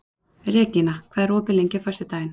Regína, hvað er opið lengi á föstudaginn?